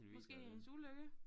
Måske af hendes ulykke